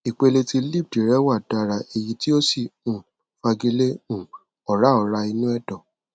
ìpele tí lipd rẹ wà dára èyí tó sì um fagilé um ọrá ọrá inú ẹdọ